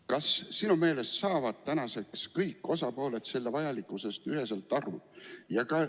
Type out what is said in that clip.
Kas sinu meelest saavad kõik osapooled selle vajalikkusest üheselt aru?